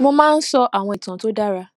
mo máa ń sọ àwọn ìtàn tó dára